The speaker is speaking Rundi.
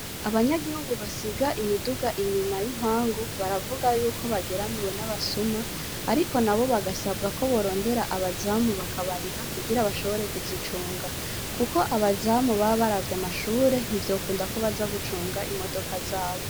Abanyagihugu basiga imiduga inyuma y'impangu baravuga yuko bageramiwe n'abasuma, ariko na bo bagasabwa ko borondera abazamu bakabariha kugira bashobore kuzicunga, kuko abazamu babaravya amashure ntivyokunda ko baza gucunga imodoka zabo.